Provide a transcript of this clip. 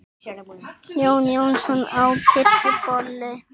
Jón Jónsson á Kirkjubóli